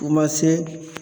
U ma se